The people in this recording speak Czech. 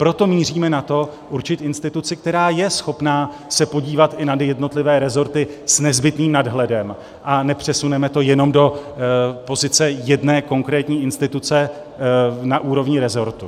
Proto míříme na to určit instituci, která je schopna se podívat i na jednotlivé resorty s nezbytným nadhledem, a nepřesuneme to jenom do pozice jedné konkrétní instituce na úrovni resortu.